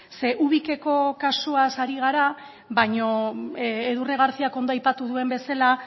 ze ubikeko kasuaz ari gara baina edurne garcíak ondo aipatu duen bezala